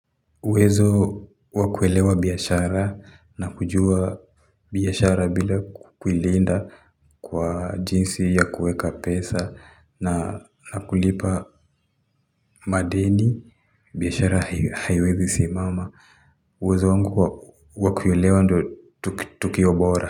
Wezo wakuelewa biashara na kujua biashara bila kukwiliinda kwa jinsi ya kueka pesa na kulipa madeni biashara haiwezi simama. Wezo wangu wakulelewa ndio tukiobora.